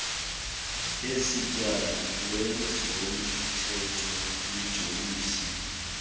isetyana lezomthetho lijolise